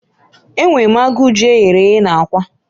Enwere m agụụ ji eghere eghe na akwa